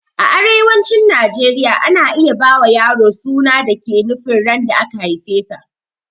A arewacin najeriya ana iya ba wa yaro suna da ke nufin ran da aka haifesa